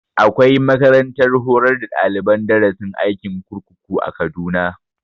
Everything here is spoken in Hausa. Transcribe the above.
Akwai makarantar horar da daliban darasin aikin kurkuku a kaduna